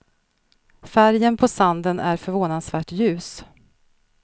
Färgen på sanden är förvånansvärt ljus.